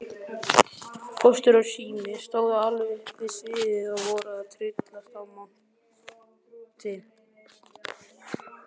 Póstur og Sími stóðu alveg upp við sviðið og voru að tryllast af monti.